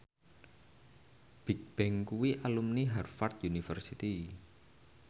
Bigbang kuwi alumni Harvard university